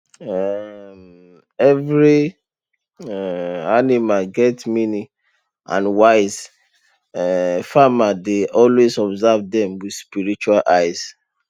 um every um animal get meaning and wise um farmer dey always observe dem with spiritual eye